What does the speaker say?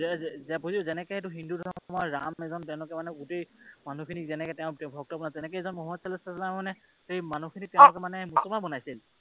যে বুজি পাইছো, যেনেকৈ এইটো হিন্দু ধৰ্মৰ ৰাম এজন তেওঁ মানে গোটেই মানুহখিনিক ভক্ত বনাইছে তেনেকৈয়ে মানে মোহাম্মদ ছাল্লাল্লাহু ছাল্লামে সেই মানুহখিনিক তেওঁ মানে মুছলমান বনাইছে।